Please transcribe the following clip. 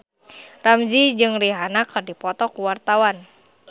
Ramzy jeung Rihanna keur dipoto ku wartawan